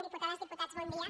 diputades diputats bon dia